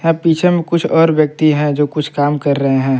पीछे में कुछ और व्यक्ति हैं जो कुछ काम कर रहे हैं।